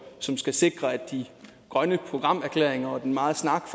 som skal sikre at de grønne programerklæringer og den meget snak